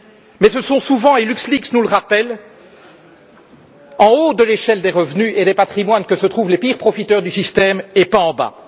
Mais ce sont souvent et LuxLeaks nous le rappelle en haut de l'échelle des revenus et des patrimoines que se trouvent les pires profiteurs du système, et pas en bas.